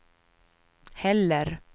heller